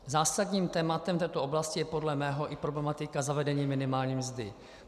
Zásadním tématem této oblasti je podle mého i problematika zavedení minimální mzdy.